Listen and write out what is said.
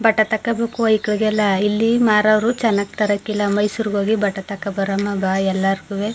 ಬಟ್ಟೆ ತೋಕೋಬೇಕು ವ್ಯ್ಕಳಿಗೆಲ್ಲಾ ಇಲ್ಲಿ ಮಾರವರು ಚನ್ನಾಗಿ ತರಕಿಲ್ಲಾ ಮೈಸೂರಿಗೆ ಹೋಗಿ ಬಟ್ಟೆ ತಕೋಬರೋಮಾ ಬಾ ಎಲ್ಲಾರುಗುವೆ.